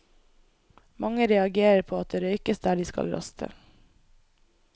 Mange reagerer på at det røykes der de skal raste.